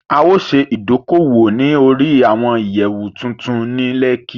A o ṣe ìdókòwò ní orí àwọn ìyẹ̀wù tuntun ní Lẹ́kí